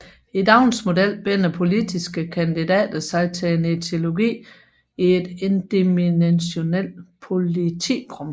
I Downs model binder politiske kandidater sig til en ideologi i et endimensionalt politikrum